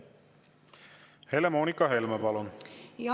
Helle-Moonika Helme, palun!